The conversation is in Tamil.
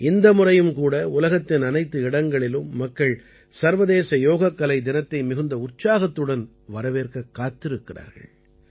இந்த முறையும் கூட உலகத்தின் அனைத்து இடங்களிலும் மக்கள் சர்வதேச யோகக்கலை தினத்தை மிகுந்த உற்சாகத்துடன் வரவேற்கக் காத்திருக்கிறார்கள்